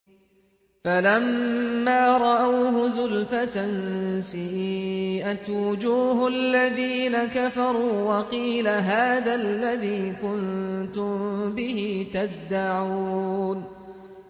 فَلَمَّا رَأَوْهُ زُلْفَةً سِيئَتْ وُجُوهُ الَّذِينَ كَفَرُوا وَقِيلَ هَٰذَا الَّذِي كُنتُم بِهِ تَدَّعُونَ